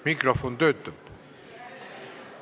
Mikrofon töötab?